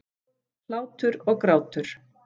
Hlátur og grátur.